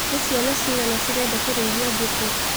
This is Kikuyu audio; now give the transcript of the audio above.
Nĩ ciana cigana cirenda kũrĩithia mbũkũ.